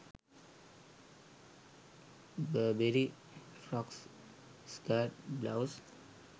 burberry frocks skirts blouse